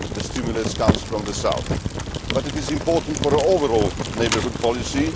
The stimulus is coming from the South, but it is important for our overall neighbourhood policy.